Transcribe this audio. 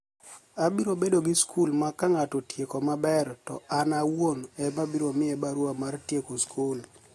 Abiro bedo gi skul ma ka nig'ato otieko maber, to ani awuoni ema abiro miye barua mar tieko skul".